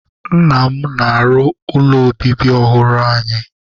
Nna m na-arụ ụlọ obibi ọhụrụ anyị